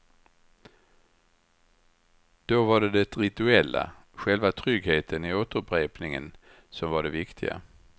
Då var det det rituella, själva tryggheten i återupprepningen som var det viktiga.